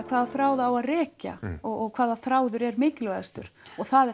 hvaða þráð á að rekja og hvaða þráður er mikilvægastur og það